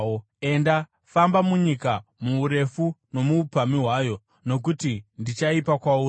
Enda, famba munyika, muurefu nomuupamhi hwayo, nokuti ndichaipa kwauri.”